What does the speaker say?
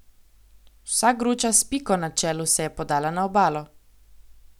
Vsa gruča s Piko na čelu se je podala na obalo.